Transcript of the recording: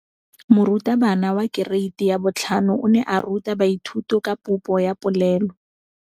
Moratabana wa kereiti ya 5 o ne a ruta baithuti ka popô ya polelô.